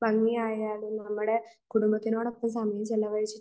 ഭംഗി ആയാലും നമ്മുടെ കുടുംബത്തിനോടൊപ്പം സമയം ചെലവഴിച്ച്